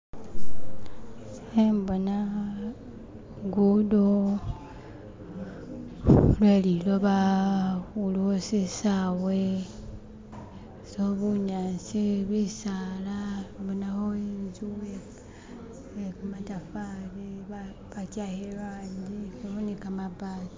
khembona lugudo lweliloba khulikho shisawe bunyaasi bisaala bonakho intsu yekamatafari bachihaka irangi ilikho ni kamabati